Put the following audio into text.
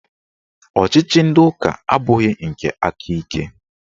Ọchịchị ndị ụka abụghị nke aka ike